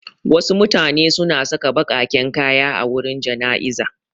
Wasu mutane suna saka baƙaƙen kaya a wurin jana'iza.